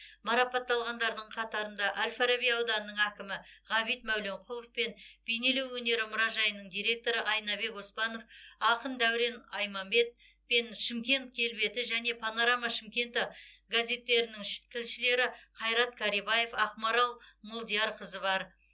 марапатталғандардың қатарында әл фараби ауданының әкімі ғабит мәуленқұлов пен бейнелеу өнері мұражайының директоры айнабек оспанов ақын дәурен айманбет пен шымкент келбеті және панорама шымкентігазеттерінің тілшілері қайрат карибаев ақмарал молдиярқызы бар